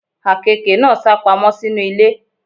Àkekè náà sápamọ́ sínú ilé.